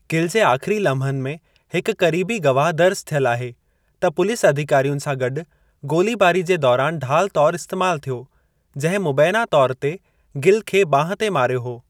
गिल जे आख़िरी लम्हनि में हिकु क़रीबी गवाह, दर्जु थियलु आहे त पुलिस अधिकारियुनि सां गॾु गोलीबारी जे दौरान ढाल तौर इस्तैमालु थियो, जिंहिं मुबैना तौर ते गिल खे बांहुं ते मारियो हो।